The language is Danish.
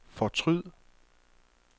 fortryd